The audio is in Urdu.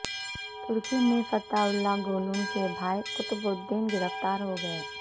ترکی میں فتح اللہ گولن کے بھائی قطب الدین گرفتار ہو گئے